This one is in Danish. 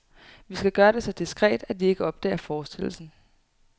Vi skal gøre det så diskret, at de ikke opdager forstillelsen.